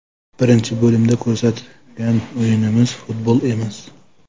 Birinchi bo‘limda ko‘rsatgan o‘yinimiz futbol emas.